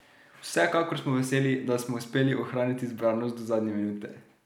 Vsekakor smo veseli, da smo uspeli ohraniti zbranost do zadnje minute.